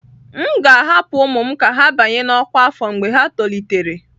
M ga-ahapụ ụmụ m ka ha banye na ọkwa afọ mgbe ha tolitere.